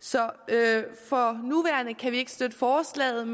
så for nuværende kan vi ikke støtte forslaget